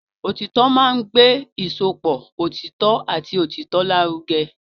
Òtítọ́ máa ń gbé ìsopọ̀ òtítọ́ àti òtítọ́ lárugẹ.